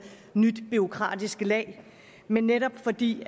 nyt bureaukratisk lag men netop fordi